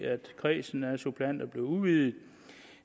at kredsen af suppleanter bliver udvidet